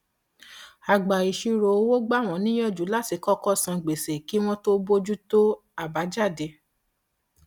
agbàìṣirò owó gbà wọn níyànjú láti kọkọ san gbèsè kí wọn tó bójú tó àbájáde